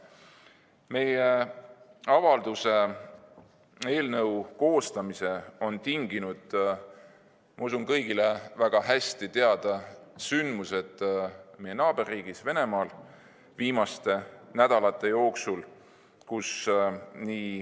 Meie avalduse eelnõu koostamise on tinginud, ma usun, kõigile väga hästi teada sündmused meie naaberriigis Venemaal viimaste nädalate jooksul.